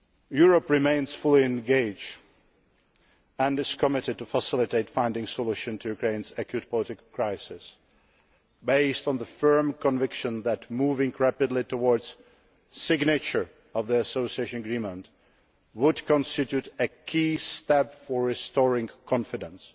Europe remains fully engaged and is committed to facilitating finding solutions to Ukraine's acute political crisis, based on the firm conviction that moving rapidly towards the signature of the Association Agreement would constitute a key step for restoring confidence.